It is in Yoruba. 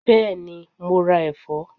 Bẹ́ẹ̀ni, mo ra ẹ̀fọ́?